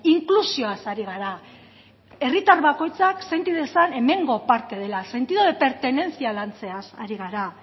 inklusioaz ari gara herritar bakoitzak senti dezan hemengo parte dela sentido de pertenencia lantzeaz ari gara